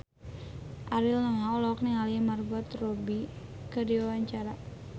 Ariel Noah olohok ningali Margot Robbie keur diwawancara